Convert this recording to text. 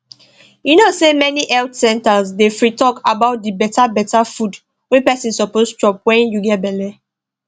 you know say many health centers dey free talk about the better better food wey person suppose chop when you get belle